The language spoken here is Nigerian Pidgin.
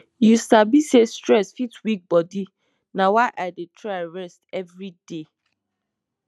you sabi say stress fit weak bodi na why i dey try rest every day